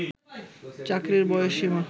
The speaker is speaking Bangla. চাকরির বয়সসীমা